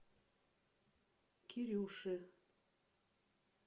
кирюше